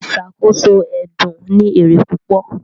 Ìṣàkóso ẹdun ní èrè púpò